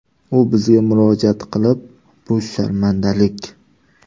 U bizga murojaat qilib, ‘bu sharmandalik.